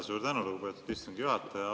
Suur tänu, lugupeetud istungi juhataja!